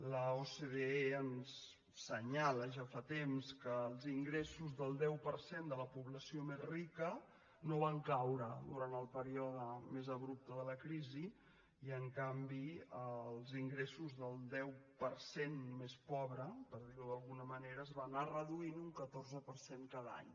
l’ocde ens assenyala ja fa temps que els ingressos del deu per cent de la població més rica no van caure durant el període més abrupte de la crisi i en canvi els ingressos del deu per cent més pobre per dirho d’alguna manera es van anar reduint un catorze per cent cada any